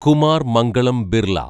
Kumar Mangalam Birla